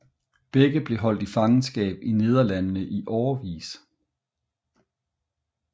Begge blev holdt i fangenskab i Nederlandene i årevis